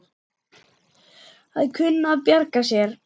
Að kunna að bjarga sér!